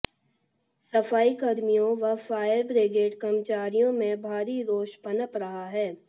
सफाई कर्मियों व फायर ब्रिगेड कर्मचारियों में भारी रोष पनप रहा है